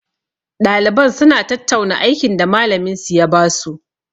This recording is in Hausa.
Ɗaliban suna tattauna aikin da malamin minsu ya basu.